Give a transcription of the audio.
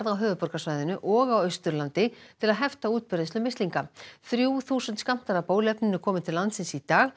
á höfuðborgarsvæðinu og á Austurlandi til að hefta útbreiðslu mislinga þrjú þúsund skammtar af bóluefninu komu til landsins í dag